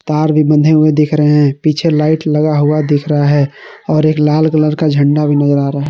तार भी बंधे हुए दिख रहे हैं पीछे लाइट लगा हुआ दिख रहा है और एक लाल कलर का झंडा भी नजर आ रहा है।